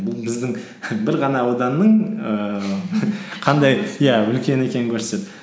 бұл біздің бір ғана ауданның ііі иә үлкен екенін көрсетеді